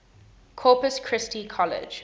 corpus christi college